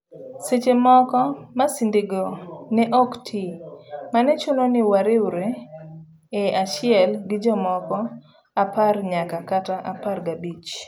Seche moko, masindego ne ok tii, mane chuno ni wariwre e achiel gijomoko apar nyaka kata apar gabich.